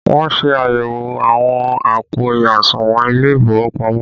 Wọn ṣe àyẹ̀wò àwọn àpò àsùnwọ̀n ilé ìfowópamọ́